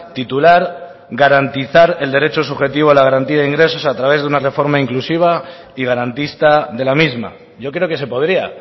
titular garantizar el derecho subjetivo a la garantía de ingresos a través de una reforma inclusiva y garantista de la misma yo creo que se podría